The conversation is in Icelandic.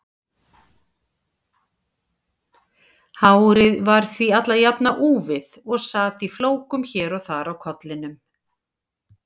Hárið var því alla jafna úfið og sat í flókum hér og þar á kollinum.